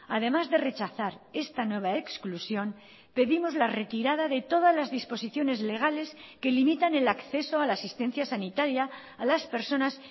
además de rechazar esta nueva exclusión pedimos la retirada de todas las disposiciones legales que limitan el acceso a la asistencia sanitaria a las personas